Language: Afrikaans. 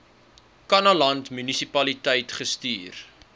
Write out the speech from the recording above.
kannaland munisipaliteit gestuur